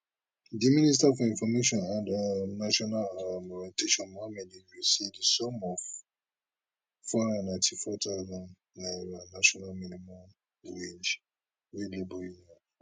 di minister for information and um national um orientation mohammed idris say di sum of four hundred and ninety four thousand national minimum wage wey labour union